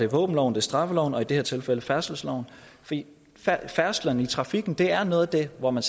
våbenloven straffeloven og i det her tilfælde færdselsloven for færdsel i trafikken er noget af det hvor man